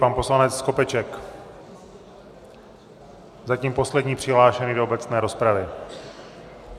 Pan poslanec Skopeček, zatím poslední přihlášený do obecné rozpravy.